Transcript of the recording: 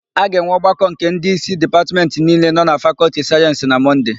A ga-enwe ọgbakọ nke ndịísí Dipatmentị niile nọ na Fakọltị Sayensị na Mọnde.